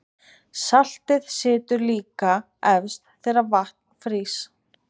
saltið situr líka eftir þegar vatn frýs